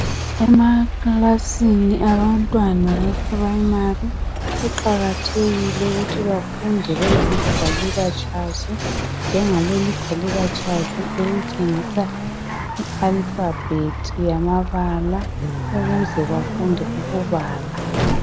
Emakilasini abantwana bema primary kuqakathekile ukuthi bafunde belamagwaliba tshazi njengaleli igwaliba tshazi elitshengisa i alphabet yamabala ukuze bafunde ukubala.